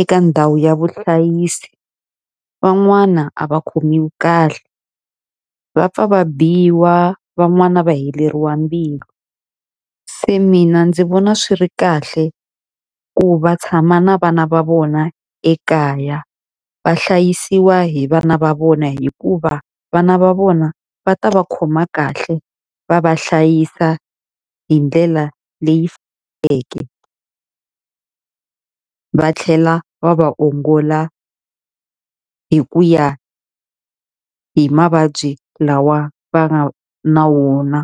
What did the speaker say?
eka ndhawu ya vuhlayisi, van'wana a va khomiwi kahle. Va pfa va biwa van'wani va heleriwa mbilu. Se mina ndzi vona swi ri kahle ku va tshama na vana va vona ekaya, va hlayisiwa hi vana va vona hikuva vana va vona va ta va khoma kahle va va hlayisa hi ndlela leyi faneleke. Va tlhela va va ongola hi ku ya hi mavabyi lawa va nga na wona.